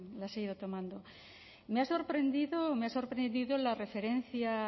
las he ido tomando me ha sorprendido la referencia